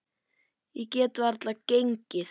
Ég get varla gengið.